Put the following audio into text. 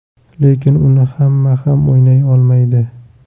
Lekin uni hamma ham o‘ynay olmaydi.